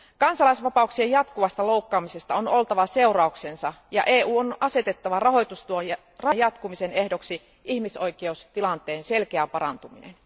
Kansalaisvapauksien jatkuvasta loukkaamisesta on oltava seurauksensa ja EUn on asetettava rahoitustuen jatkumisen ehdoksi ihmisoikeustilanteen selkeä parantuminen.